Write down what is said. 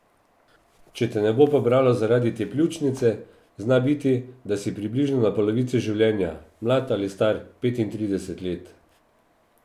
Če te ne bo pobralo zaradi te pljučnice, zna biti, da si približno na polovici življenja, mlad ali star petintrideset let.